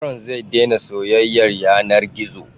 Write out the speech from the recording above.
Yaron zai daina soyyaya yanar gizo.